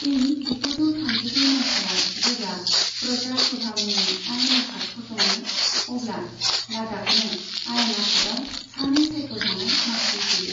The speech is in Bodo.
इं जिगुजौ थामजिब्रै माइथायाव जेब्ला प्रजा सभा मुंनि आयेन आफाद फसङो, अब्ला लाद्दाखनो आयेन आफादाव सानै सायख'जानाय मासि होयो।